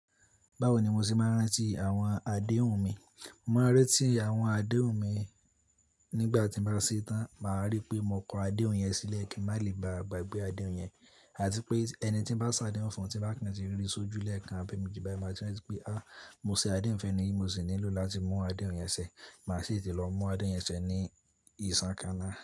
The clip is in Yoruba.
Báwo ni mo ṣe máa ń rántí àwọn adéhùn mi? Mo máa ń rántí àwọn adéhùn mi nígbà tí mo bá ṣe tán, màá rí pé mo kó adéhùn yẹn sílẹ̀ kí má lè ba à gbagbé adéhùn yẹn. Àti pé ẹni tí ń bá ṣàdéhùn fún, tí bá kan ti rí sójú lẹ́ẹ̀kan abi emeji bayi, màá tí rántí pé a mo ṣe adéhùn fẹ́ni yi mo sì nílò láti mú adéhùn yẹn ṣẹ. Màá sì tì lọ mú adéhùn yẹn ṣẹ ní ìsánkaná.